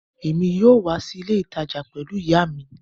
Èmi yóò wá sí ilé ìtajà pẹlú ìyá mi